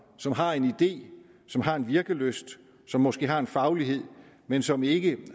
som har en idé som har en virkelyst som måske har en faglighed men som ikke